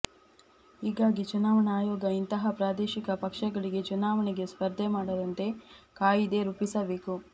ಹೀಗಾಗಿ ಚುನಾವಣಾ ಆಯೋಗ ಇಂತಹ ಪ್ರಾದೇಶಿಕ ಪಕ್ಷಗಳಿಗೆ ಚುನಾವಣೆಗೆ ಸ್ಪರ್ಧೆ ಮಾಡದಂತೆ ಕಾಯ್ದೆ ರೂಪಿಸಬೇಕು